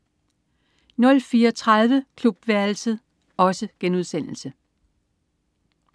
04.30 Klubværelset*